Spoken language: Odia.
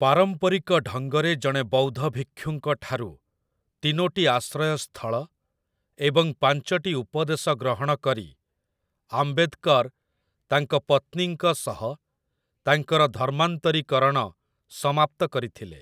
ପାରମ୍ପରିକ ଢଙ୍ଗରେ ଜଣେ ବୌଦ୍ଧ ଭିକ୍ଷୁଙ୍କଠାରୁ ତିନୋଟି ଆଶ୍ରୟସ୍ଥଳ ଏବଂ ପାଞ୍ଚଟି ଉପଦେଶ ଗ୍ରହଣ କରି ଆମ୍ବେଦକର ତାଙ୍କ ପତ୍ନୀଙ୍କ ସହ ତାଙ୍କର ଧର୍ମାନ୍ତରୀକରଣ ସମାପ୍ତ କରିଥିଲେ ।